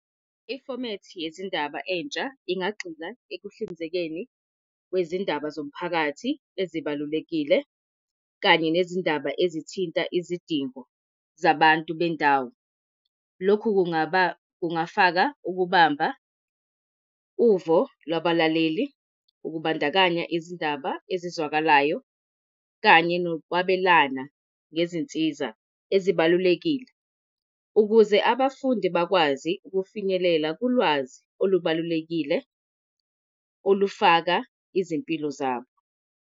Ifomethi yezindaba entsha ingagxila ekuhlinzekeni kwezindaba zomphakathi ezibalulekile kanye nezindaba ezithinta izidingo zabantu bendawo. Lokhu kungaba kungafaka ukubamba uvo kwabalaleli, ukubandakanya izindaba ezizwakalayo kanye nokwabelana ngezinsiza ezibalulekile, ukuze abafundi bakwazi ukufinyelela kulwazi olubalulekile olufaka izimpilo zabo.